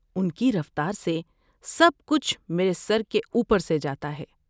اس کی رفتار سے، سب کچھ میرے سر کے اوپر سے جاتا ہے۔